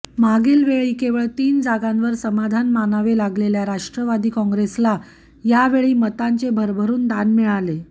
मागीलवेळी केवळ तीन जागांवर समाधान मानावे लागलेल्या राष्ट्रवादी कॉंग्रेसल यावेळी मतांचे भरभरून दान मिळाले